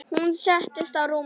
Hún settist á rúmið.